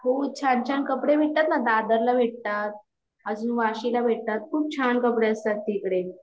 हो छान छान कपडे भेटतात न दादर ला भेटतात आजून वाशीला भेटतात खूप छान कपडे असतात तिकडे